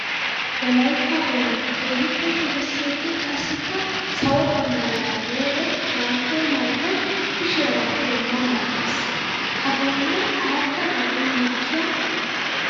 Wolaytta boynna keehippe shugissiddi qassikka sawo bambbariyara miyoode mali'iyo mali'oy kushiyara pude ma ma gees. Ha boynnay aradda gaden mokkiya katta.